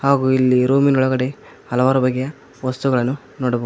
ಹಾಗು ಇಲ್ಲಿ ರೂಮಿ ನೊಳಗಡೆ ಹಲವಾರು ಬಗೆಯ ವಸ್ತುಗಳನ್ನು ನೋಡಬಹುದು.